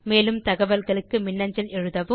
மேலும் தகவல்களுக்கு மின்னஞ்சல் செய்யவும்